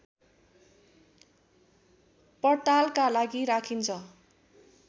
पड्तालका लागि राखिन्छ